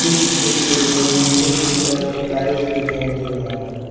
इस चित्र में नीचे की तरफ टाइल्स दिखाई दे रहा है।